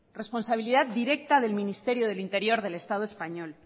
responsabilidad directa del ministerio del interior del estado español